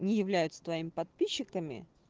не являются твоими подписчиками